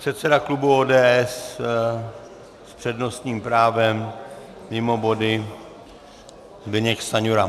Předseda klubu ODS s přednostním právem mimo body Zbyněk Stanjura.